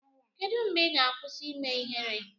kedu mgbe ị ga-akwụsị ime ihere?